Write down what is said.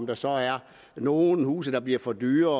der så er nogle huse der bliver for dyre